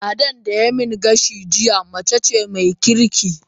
Ladan da yayi min gashi jiya mace ce mai kirki